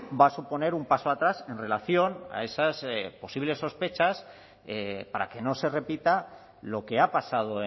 va a suponer un paso atrás en relación a esas posibles sospechas para que no se repita lo que ha pasado